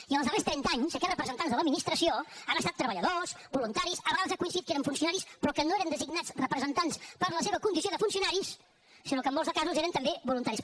i en els darrers trenta anys aquests representants de l’administració han estat treballadors voluntaris a vegades ha coincidit que eren funcionaris però que no eren designats representants per la seva condició de funcionaris sinó que en molts casos eren també voluntaris